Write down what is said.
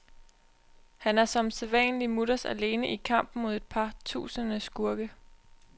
Han er som sædvanlig mutters alene i kampen mod et par tusinde skurke.